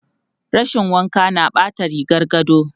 Rashin wanka na ɓata rigar gado.